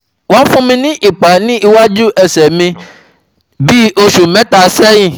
Won fun mi ni ipa ni iwaju ẹsẹ̀ mi ni bi osu meta seyin